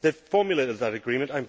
They formulated that agreement.